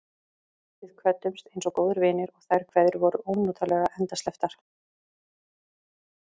Við kvöddumst einsog góðir vinir, og þær kveðjur voru ónotalega endasleppar.